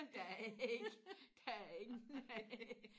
der er ikke der er ingen nej